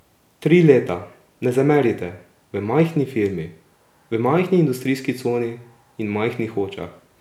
Tri leta, ne zamerite, v majhni firmi, v majhni industrijski coni in v majhnih Hočah!